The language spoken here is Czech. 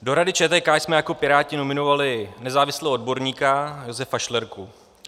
Do Rady ČTK jsme jako Piráti nominovali nezávislého odborníka Josefa Šlerku.